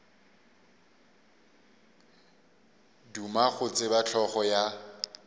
duma go tseba hlogo ya